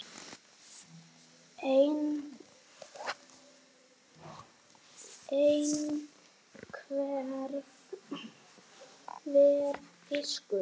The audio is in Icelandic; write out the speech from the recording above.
einhver fiskur.